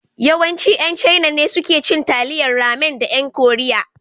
Yawanci ƴan Chaina ne suke cin Taliyan Ramen da ƴan Koriya.